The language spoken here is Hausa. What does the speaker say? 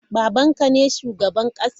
Baban ka ne shugaban kasa?